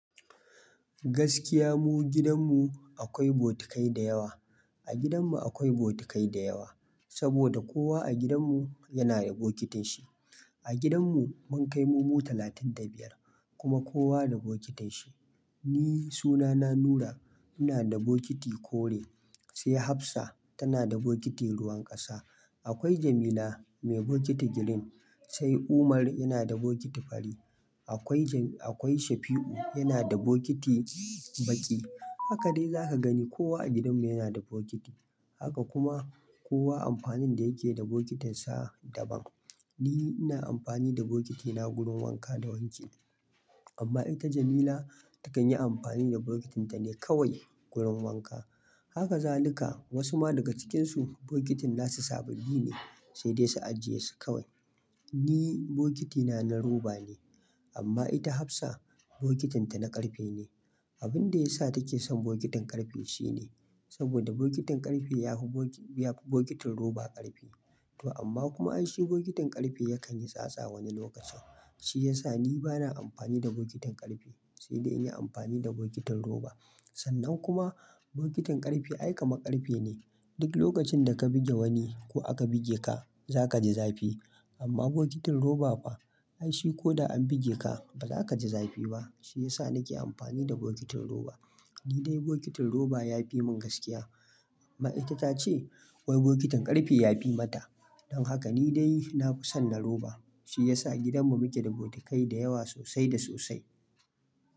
Gaskiya mu gidan mu akwai bokatai da yawa. A gidan mu akwai bokatai da yawa, sabida kowa a gidan mu yana da bokitin shi. A gidan mu mun kai mu, mu talatin da biyar, kuma kowa da bokitin shi. Ni sunana Nura, ina da bokiti kore. Sai Hafsa tana da bokiti ruwan ƙasa. Akwai Jamila mai bokiti green. Sai Umar yana da bokiti fari. Akwai jam-- akwai Shafi'u yana da bokiti baƙi. Haka dai zaka gani kowa a gidan mu yana da bokiti. Haka kuma kowa amfanin da yake da bokitin sa daban. Ni ina amfani da bokitina gurin wanka da wanki. Amma ita Jamila takan yi amfani da bokitinta ne kawai gurin wanka. Haka zalika Wasu ma daga cikinsu bokitin nasu sababbi ne sai dai su ajiye su kawai. Ni bokitina na rubber ne. Amma ita Hafsa bokitinta na ƙarfe ne. Abin da ya sa take son bokitin ƙarfe shine, sabida bokitin ƙarfe ya fi bokitin rubber ƙarfi. To amma kuma ai shi bokitin ƙarfe yakan yi tsatsa wani lokacin. Shi ya sa ni bana amfani da bokitin ƙarfe sai dai in yi amfani da bokitin rubber. Sannan kuma bokitin ƙarfe ai kamar ƙarfe ne. Duk lokacin da ka buge wani ko aka buge ka za ka ji zafi. Amma bokitin rubber fa, ai shi ko da an buge ka ba za ka ji zafi ba. Shi ya sa na ke amfani da bokitin rubber. Ni dai bokitin rubber yafi mun gaskiya. Amma ita ta ce wai bokitin ƙarfe yafi mata. Don haka ni dai na fi son na roba. Shi ya sa gidan mu muke da bokitai da yawa sosai da sosai.